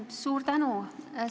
Suur tänu!